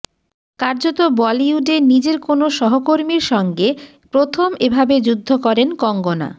কার্যত বলিউডে নিজের কোনও সহকর্মীর সঙ্গে প্রথম এভাবে যুদ্ধ করেন কঙ্গনা